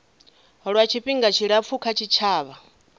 lwa tshifhinga tshilapfu kha tshitshavha